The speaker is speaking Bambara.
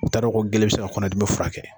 U t'a ko gele bi se ka kɔnɔdimi furakɛ.